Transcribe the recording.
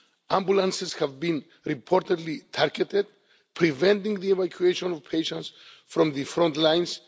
ambulances have been reportedly targeted, preventing the evacuation of patients from the front lines